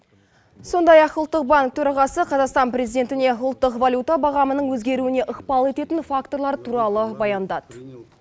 сондай ақ ұлттық банк төрағасы қазақстан президентіне ұлттық валюта бағамының өзгеруіне ықпал ететін факторлар туралы баяндады